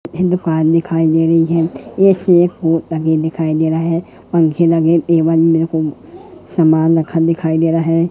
हे दुकान दिखाई दे रही है एक ये कोट टंगे दिखाई दे रहा है पंखे लगे ए वन मेरे को सामान रखा दिखाई दे रहा है।